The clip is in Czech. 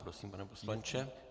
Prosím, pane poslanče.